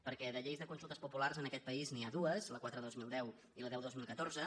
per·què de lleis de consultes populars en aquest país n’hi ha dues la quatre dos mil deu i la deu dos mil catorze